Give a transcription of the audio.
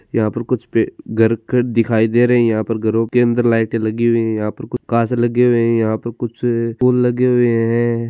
यहाँ पे कुछ घरखर दिखाई दे रहे है यहा पर घरो के अंदर लाईट लगी हुई है यहाँ पे कुछ काच लगे हुए है यहाँ पर कुछ फूल लगे हुए है।